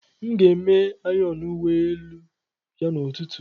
M ga-eme ayọn uwe elu ya n'ụtụtụ.